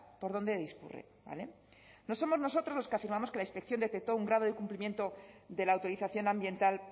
por dónde discurre vale no somos nosotros los que afirmamos que la inspección detectó un grado del cumplimiento de la autorización ambiental